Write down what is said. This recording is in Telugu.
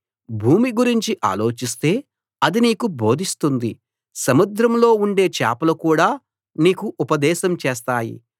భూమి గురించి ఆలోచిస్తే అది నీకు బోధిస్తుంది సముద్రంలో ఉండే చేపలు కూడా నీకు ఉపదేశం చేస్తాయి